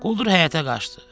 Quldur həyətə qaçdı.